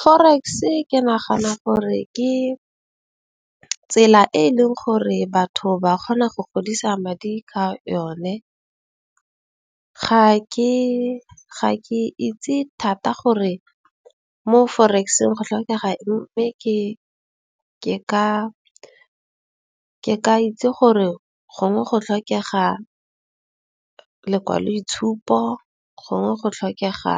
Forex-e ke nagana gore ke tsela e e leng gore batho ba kgona go godisa madi ka yone. Ga ke itse thata gore mo forex-eng go tlhokega eng. Mme ke ka itse gore gongwe go tlhokega lekwaloitshupo, gongwe go tlhokega